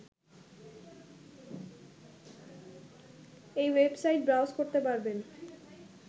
এই website browse করতে পারবেন